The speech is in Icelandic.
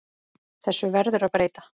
Þessu verður að breyta.